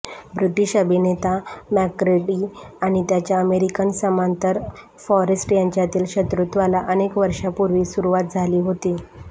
British अभिनेता Macready आणि त्याच्या अमेरिकन समांतर फॉरेस्ट यांच्यातील शत्रुत्वाला अनेक वर्षांपूर्वी सुरुवात झाली होती